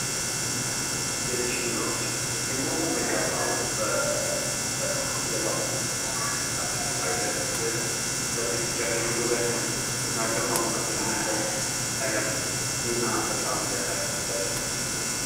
የእጅ ሂናዎች፦ ሂናን ስንቀባ በምንኖርበት የባህል ሀገር ውስጥ ለሴቶቻችን ውበትን የሚሰጥ እና ግርማ ሞገስን የሚሰጥ ነገር ነው። እና ሂና በጣም ጠቃሚ ነው ለጤና።